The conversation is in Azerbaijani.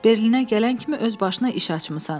Berlinə gələn kimi öz başına iş açmısan.